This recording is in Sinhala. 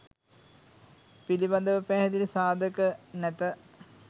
පිළිබඳව පැහැදිලි සාධක නැත.